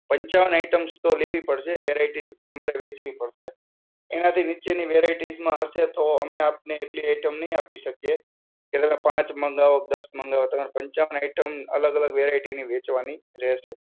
પંચાવન items તો લેવી પડશે. variety તમારે વહેંચવી પડશે. એનાથી નીચેની variety માં હશે તો અમે આપને એટલી item નહીં આપી શકીએ. કે તમે પાંચ મંગાવો, દસ મંગાવો, તમે પંચાવન આઈટમ અલગ અલગ variety ની વહેંચવાની રહેશે.